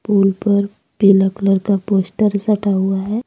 पुल पर पीला कलर का पोस्टर स्टा हुआ है।